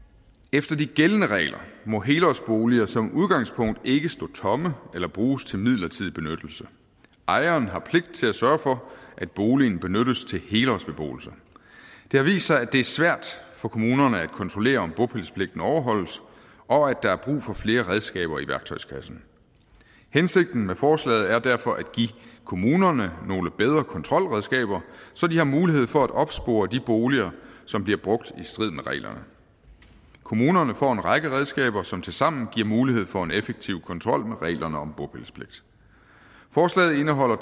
efter de gældende regler må helårsboliger som udgangspunkt ikke stå tomme eller bruges til midlertidig benyttelse ejeren har pligt til at sørge for at boligen benyttes til helårsbeboelse det har vist sig at det er svært for kommunerne at kontrollere om bopælspligten overholdes og at der er brug for flere redskaber i værktøjskassen hensigten med forslaget er derfor at give kommunerne nogle bedre kontrolredskaber så de har mulighed for at opspore de boliger som bliver brugt i strid med reglerne kommunerne får en række redskaber som tilsammen giver mulighed for en effektiv kontrol med reglerne om bopælspligt forslaget indeholder